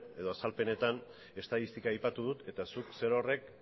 edo azalpenetan estatistika aipatu dut eta zuk zerorrek